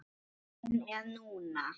Tíminn er núna.